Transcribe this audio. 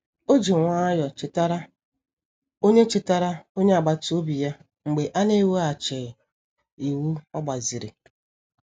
O ji nwayọọ chetara onye chetara onye agbata obi ya mgbe a na-eweghachighị ịwụ ogbaziri.